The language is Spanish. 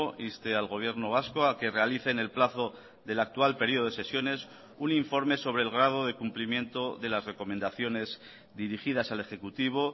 inste al gobierno vasco a que realice en el plazo del actual periodo de sesiones un informe sobre el grado de cumplimiento de las recomendaciones dirigidas al ejecutivo